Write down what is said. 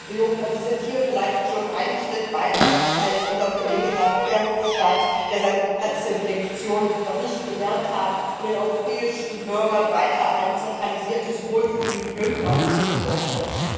Herr Juncker, Sie sind hier vielleicht schon einen Schritt weiter als unser Kollege Verhofstadt, der seine Brexit Lektion noch nicht gelernt hat und den europäischen Bürgern weiter ein zentralisiertes Wohlfühlglück aufzwingen möchte.